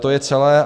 To je celé.